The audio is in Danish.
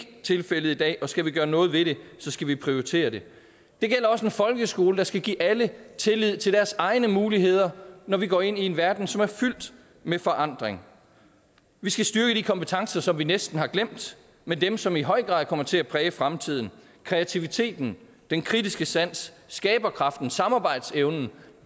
tilfældet i dag og skal vi gøre noget ved det skal vi prioritere det det gælder også en folkeskole der skal give alle tillid til deres egne muligheder når vi går ind i en verden som er fyldt med forandring vi skal styrke de kompetencer som vi næsten har glemt med dem som i høj grad kommer til at præge fremtiden kreativiteten den kritiske sans skaberkraften samarbejdsevnen